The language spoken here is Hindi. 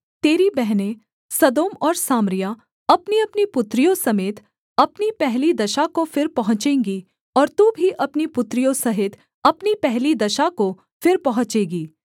तेरी बहनें सदोम और सामरिया अपनीअपनी पुत्रियों समेत अपनी पहली दशा को फिर पहुँचेंगी और तू भी अपनी पुत्रियों सहित अपनी पहली दशा को फिर पहुँचेगी